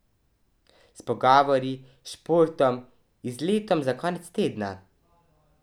S pogovori, športom, izletom za konec tedna ...